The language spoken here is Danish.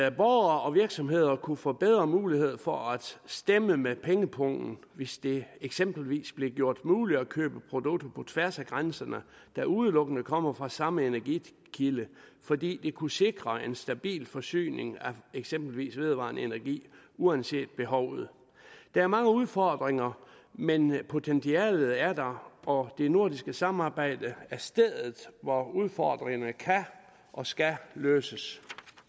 og borgere og virksomheder kunne få bedre mulighed for at stemme med pengepungen hvis det eksempelvis blev gjort muligt at købe produkter på tværs af grænserne der udelukkende kom fra samme energikilde fordi det kunne sikre en stabil forsyning af eksempelvis vedvarende energi uanset behovet der er mange udfordringer men potentialet er der og det nordiske samarbejde er stedet hvor udfordringerne kan og skal løses